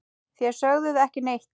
Þér sögðuð ekki neitt!